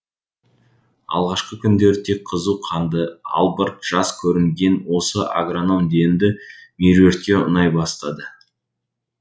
алғашқы күндері тек қызу қанды албырт жас көрінген осы агроном енді меруертке ұнай бастады